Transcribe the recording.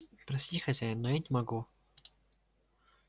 прости хозяин но я не могу